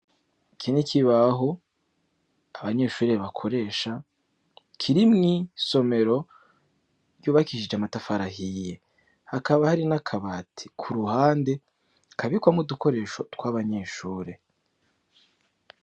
Iki n'ikibaho abanyeshure bakoresha kiri mw'isomero ryubakishije amatafari ahiye. Hakaba hari n'akabati ku ruhande kabikwamwo udukoresho tw'abanyeshure.